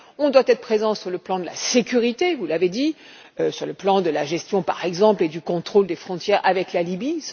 Nous devons être présents sur le plan de la sécurité, vous l'avez dit, sur le plan de la gestion, par exemple, et du contrôle des frontières avec la Libye.